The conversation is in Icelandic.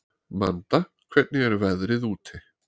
Manda, hvernig er veðrið úti?